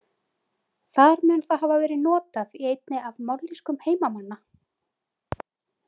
Þar mun það hafa verið notað í einni af mállýskum heimamanna.